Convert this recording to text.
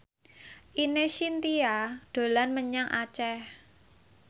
Ine Shintya dolan menyang Aceh